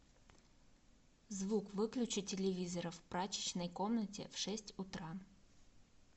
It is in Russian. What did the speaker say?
звук выключи телевизора в прачечной комнате в шесть утра